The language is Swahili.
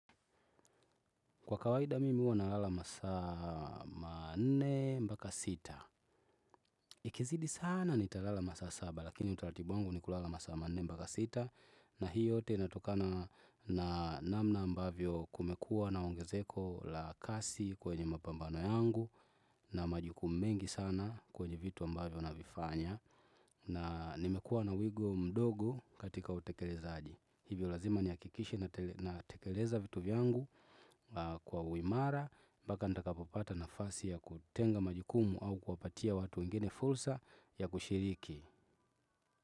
Kwa kawaida mimi huwa nalala masaa manne mpaka sita. Ikizidi sana nitalala masaa saba lakini utalatibu wangu ni kulala masaa manne mpaka sita. Na hii yote inatokana na namna ambavyo kumekua na ongezeko la kasi kwenye mapambano yangu. Na majukumu mengi sana kwenye vitu ambavyo navifanya. Na nimekua na wigu mdogo katika utekelezaji. Hivyo lazima nihakikishe natekeleza vitu vyangu kwa uimara, mbaka nitakapopata nafasi ya kutenga majukumu au kuwapatia watu wengine fulsa ya kushiriki.